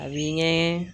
A bi ɲɛ